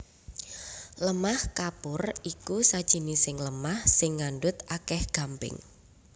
Lemah kapur iku sajinising lemah sing ngandhut akèh gamping